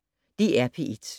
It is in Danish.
DR P1